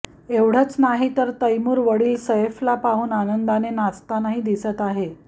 एवढेच नाही तर तैमूर वडिल सैफला पाहून आनंदाने नाचतानाही दिसत आहे